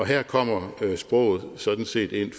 her kommer sproget sådan set ind